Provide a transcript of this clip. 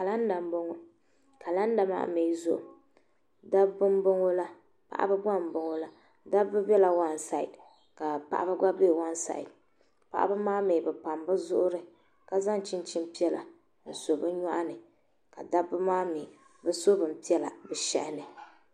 kalanda n boŋɔ kalanda mi zuɣu dabi bɛ n boŋɔ paɣi bɛ gba n boŋɔla dabi bɛ waansidi ka paɣi bɛ gba bɛ waansidi paɣibi maa mi bɛ pam bɛ zuɣiri ka zan chinchin piɛla n so bɛ nyoɣu ni ka dabi maa mi bɛ so bin piɛla bɛ shɛhani